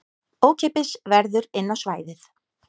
Ókeypis verður inn á svæðið